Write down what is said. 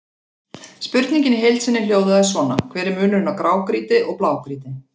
Spurningin í heild sinni hljóðaði svona: Hver er munurinn á grágrýti og blágrýti?